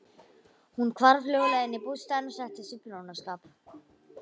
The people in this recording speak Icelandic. Hún hvarf hljóðlega inn í bústaðinn og settist við prjónaskap.